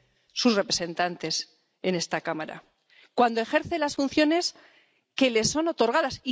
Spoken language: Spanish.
a sus representantes en esta Cámara— cuando ejerce las funciones que le son otorgadas.